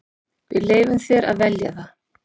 Við leyfum þér að velja það.